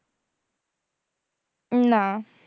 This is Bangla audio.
না